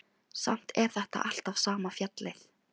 Samt er þetta alltaf sama fjallið.